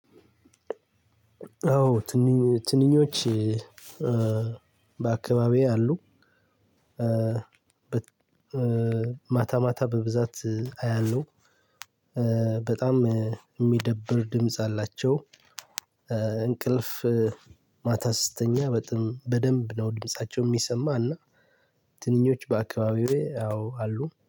አዎ። ትንኞች እ በአካባቢዬ አሉ። ማታ ማታ በብዛት አያለሁ። እ በጣም የሚደብር ድምጽ አላቸው። እ እንቅልፍ ማታ ስትተኛ። በደንብ ነው ድምፃቸው የሚሰማው። እና ትንኞች በአካባቢዬ እ አዎ አሉ